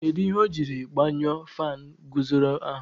Kedụ ihe o jiri gbanyuo faanu guzoro ahụ?